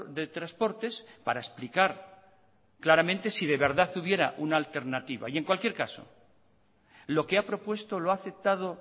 de transportes para explicar claramente si de verdad hubiera una alternativa y en cualquier caso lo que ha propuesto lo ha aceptado